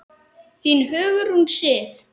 Þín, Hugrún Sif.